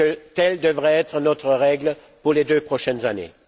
Telle devrait être notre règle pour les deux prochaines années.